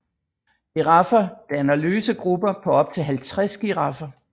Giraffer danner løse grupper på op til 50 giraffer